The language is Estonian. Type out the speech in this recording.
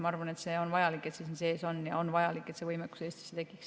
Ma arvan, et see on vajalik, et see siin sees on, ja on vajalik, et see võimekus Eestis tekiks.